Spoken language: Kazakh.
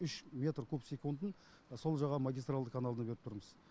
үш метр куб секундын сол жаға магистралды каналына беріп тұрмыз